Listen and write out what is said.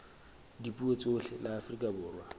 dipuo tsohle la afrika borwa